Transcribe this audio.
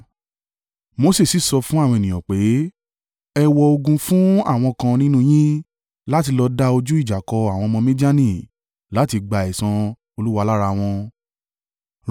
Mose sì sọ fún àwọn ènìyàn pé, “Ẹ wọ ogun fún àwọn kan nínú yín láti lọ da ojú ìjà kọ àwọn ọmọ Midiani láti gba ẹ̀san Olúwa lára wọn.